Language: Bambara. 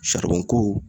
ko